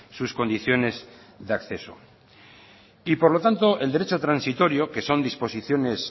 sus condiciones de acceso y por lo tanto el derecho transitorio que son disposiciones